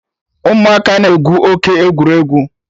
Ụmụaka na-egwu oke egwuregwu